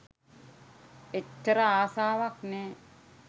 එච්චර ආසාවක් නෑ.